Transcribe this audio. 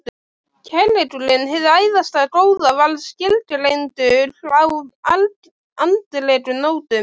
Kærleikurinn- hið æðsta góða- var skilgreindur á andlegum nótum.